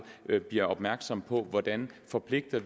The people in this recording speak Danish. bliver opmærksom på hvordan vi forpligter